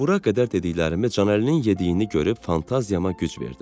Bura qədər dediklərimi Canəlinin yediyini görüb fantaziyama güc verdim.